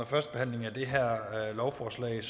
førstebehandlingen af det her lovforslag